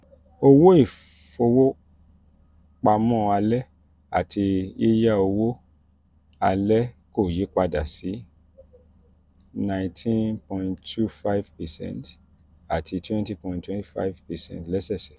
owó ìfowópamọ́ alẹ́ àti yiya owó yiya owó alẹ́ kò yí padà sí nineteen point two five percent àti twenty point two five percent lẹ́sẹ̀sẹ̀.